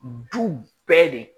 Du bɛɛ de